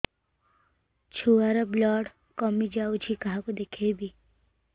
ଛୁଆ ର ବ୍ଲଡ଼ କମି ଯାଉଛି କାହାକୁ ଦେଖେଇବି